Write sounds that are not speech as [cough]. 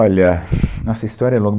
Olha, [sighs] nossa história é